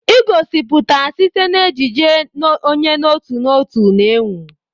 Egosiputa site na ejiji, onye n'otu n'otu na-enwu.